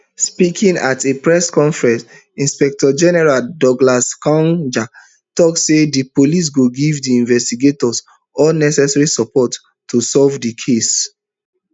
speaking at a press conference inspector general douglas kanja tok say di police go give di investigators all necessary support to solve di case